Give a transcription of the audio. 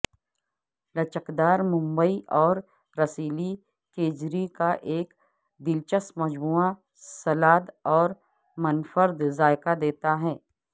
لچکدار ممبئی اور رسیلی کیجری کا ایک دلچسپ مجموعہ سلاد ایک منفرد ذائقہ دیتا ہے